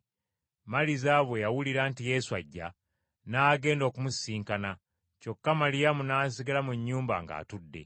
Maliza bwe yawulira nti Yesu ajja, n’agenda okumusisinkana, kyokka Maliyamu n’asigala mu nnyumba ng’atudde.